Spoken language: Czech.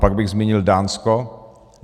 Pak bych zmínil Dánsko.